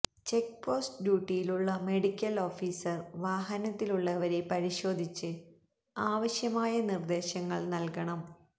checkpost ഡ്യൂട്ടിയിലുള്ള medical officer വാഹനത്തിലുള്ളവരെ പരിശോധിച്ച് ആവശ്യമായ നിര്ദേശങ്ങള് നല്കണം